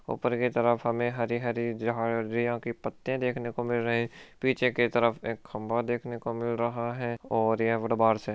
ऊपर की तरफ हमें हरे हरे झाड़ियां के पत्ते देखने को मिल रहे है पीछे की तरफ एक खंबा देखने को मिल रहा है और यहां बाहर से --